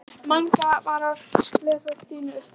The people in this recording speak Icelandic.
Mangi var að lesa fyrir Stínu upp úr